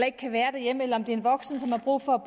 ikke kan være hjemme eller en voksen som har brug for